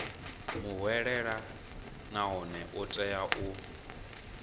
muhwelelwa nahone u tea u